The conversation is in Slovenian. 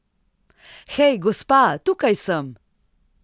Hej, gospa, tukaj sem!